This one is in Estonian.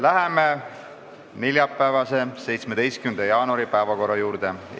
Läheme neljapäeva, 17. jaanuari päevakorrapunktide käsitlemise juurde.